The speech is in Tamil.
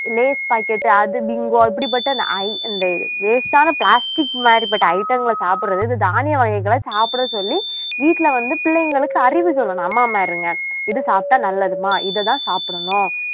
லேஸ் packet அது பிங்கோ இப்படிப்பட்ட அ இந்த waste ஆன plastic மாதிரிப்பட்ட item ங்களை சாப்பிடுறது இது தானிய வகைகளை சாப்பிட சொல்லி வீட்டுல வந்து பிள்ளைங்களுக்கு அறிவு சொல்லணும் அம்மாமாருங்க இது சாப்பிட்டா நல்லதும்மா இதைதான் சாப்பிடணும்